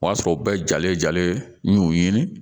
O y'a sɔrɔ u bɛɛ jalen jalen n y'u ɲini